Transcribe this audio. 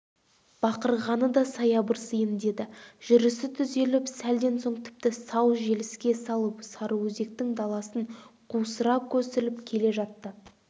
бақырғаны да саябырсиын деді жүрісі түзеліп сәлден соң тіпті сау желіске салып сарыөзектің даласын қусыра көсіліп келе жатты